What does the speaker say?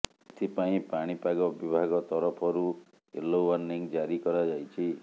ଏଥିପାଇଁ ପାଣିପାଗ ବିଭାଗ ତରଫରୁ ୟେଲୋ ୱାର୍ଣ୍ଣି ଜାରି କରାଯାଇଛି